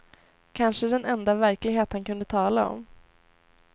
Kanske den enda verklighet han kunde tala om.